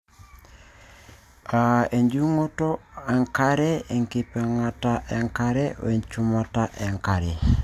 aa ejing'unoto enkare, enkipang'ata enkare, we nchumata enkare .